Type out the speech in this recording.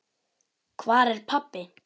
Hvar er pabbi?